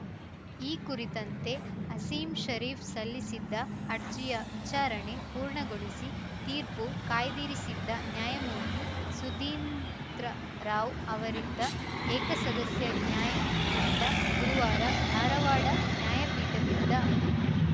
ಈ ಕುರಿತಂತೆ ಅಸೀಂ ಶರೀಫ್‌ ಸಲ್ಲಿಸಿದ್ದ ಅರ್ಜಿಯ ವಿಚಾರಣೆ ಪೂರ್ಣಗೊಳಿಸಿ ತೀರ್ಪು ಕಾಯ್ದಿರಿಸಿದ್ದ ನ್ಯಾಯಮೂರ್ತಿ ಸುಧೀಂದ್ರ ರಾವ್‌ ಅವರಿದ್ದ ಏಕಸದಸ್ಯ ನ್ಯಾಯಪೀಠ ಗುರುವಾರ ಧಾರವಾಡ ನ್ಯಾಯಪೀಠದಿಂದ